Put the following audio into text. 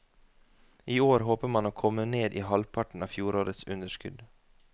I år håper man å komme ned i halvparten av fjorårets underskudd.